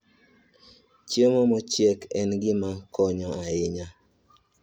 Chiemo mochiek en gima konyo ahinya